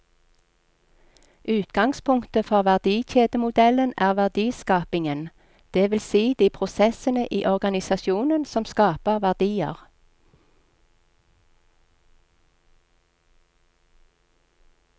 Utgangspunktet for verdikjedemodellen er verdiskapingen, det vil si de prosessene i organisasjonen som skaper verdier.